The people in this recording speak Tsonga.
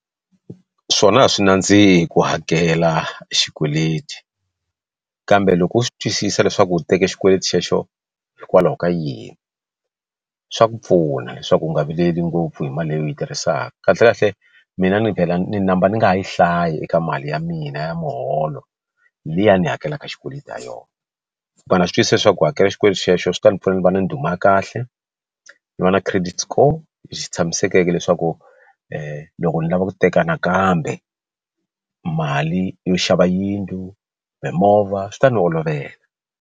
Swona a swi nandzihi ku hakela xikweleti kambe loko u swi twisisa leswaku u teke xikweleti xexo hikwalaho ka yini swa ku pfuna leswaku u nga vileli ngopfu hi mali leyi u yi tirhisaka kahle kahle mina ni vhela ni number ni nga yi hlayi eka mali ya mina ya muholo liya ni hakelaka xikweleti ha yona but na swi twisisa leswaku ku hakela xikweleti xexo swi ta ndzi pfuna ndzi va na ndhuma ya kahle ni vona credit score lexi tshamisekeke leswaku loko ni lava ku teka nakambe mali yo xava yindlu mimovha swi ta ni olovela.